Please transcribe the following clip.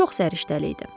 Çox səriştəli idi.